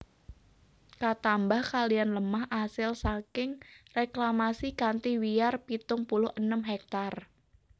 Katambah kalihan lemah asil saking reklamasi kanthi wiyar pitung puluh enem hektare